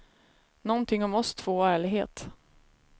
Någonting om oss två och ärlighet.